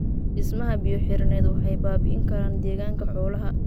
Dhismaha biyo-xireennada waxay baabi'in karaan deegaanka xoolaha.